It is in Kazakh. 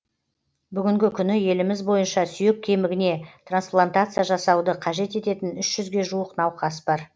бүгінгі күні еліміз бойынша сүйек кемігіне трансплантация жасауды қажет ететін үш жүзге жуық науқас бар